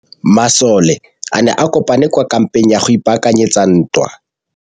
Masole a ne a kopane kwa kampeng go ipaakanyetsa ntwa.